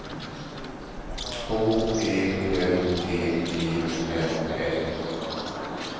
H E L G E N S